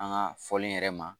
An ka fɔlen yɛrɛ ma